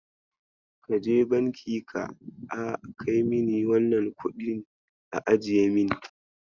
Kaje banki ka a kaimini wannan kuɗin a ajiye mini.